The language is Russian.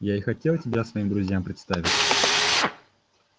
я и хотел тебя своим друзьям представить